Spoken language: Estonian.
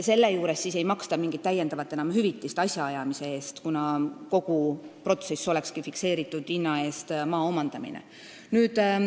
Selle juurde ei maksta mingit täiendavat hüvitist asjaajamise eest, kuna kogu see protsess olekski fikseeritud hinna eest maa omandamine.